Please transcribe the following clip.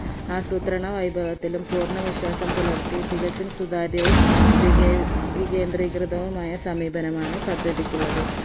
ആസൂത്രണ വൈപവത്തിലും പൂർണ വിശ്വാസം പുലർത്തി തികച്ചും സുതാര്യവും വികെ വികെന്തികൃതവുമായ സമീപനമാണ് പദ്ധതിക്കുള്ളത്